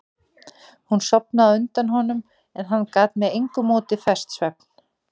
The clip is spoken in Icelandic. Hún sofnaði á undan honum en hann gat með engu móti fest svefn.